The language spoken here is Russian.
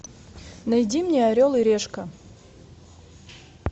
найди мне орел и решка